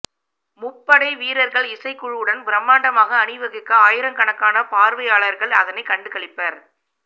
முப்படை வீரர்கள் இசைக்குழுவுடன் பிரம்மாண்டமாக அணிவகுக்க ஆயிரக்கணக்கான பார்வை யாளர்கள் அதனைக் கண்டுகளிப்பர்